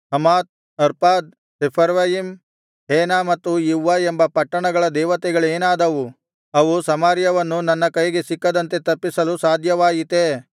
Hamath Arpad Sepharvaim Hena ಮತ್ತು Ivvah ಎಂಬ ಪಟ್ಟಣಗಳ ದೇವತೆಗಳೇನಾದವು ಅವು ಸಮಾರ್ಯವನ್ನು ನನ್ನ ಕೈಗೆ ಸಿಕ್ಕದಂತೆ ತಪ್ಪಿಸಲು ಸಾಧ್ಯವಾಯಿತೇ